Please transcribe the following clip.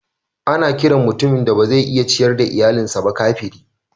Ana kiran mutumin da ba zai iya ciyar da iyalinsa ba kafiri.